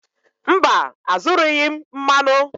Mba, azụrụghị m mmanụ.